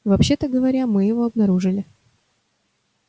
вообще-то говоря мы его обнаружили